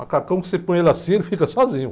Macacão que você põe ele assim, ele fica sozinho.